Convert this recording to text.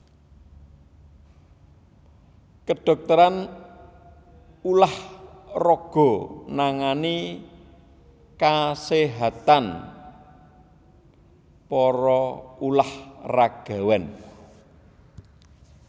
Kedhokteran ulah raga nangani kaséhatan para ulah ragawan